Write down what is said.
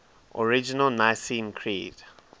original nicene creed